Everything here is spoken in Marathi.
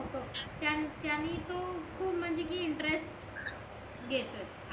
त्यांनी तो खूप म्हणजे कि इंटरेस्ट घेतोय